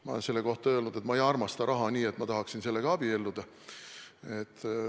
Ma olen selle kohta öelnud, et ma ei armasta raha nii palju, et ma tahaksin sellega abielluda.